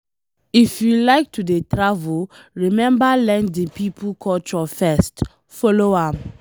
If you like to dey travel, remember learn di pipo culture first, follow am.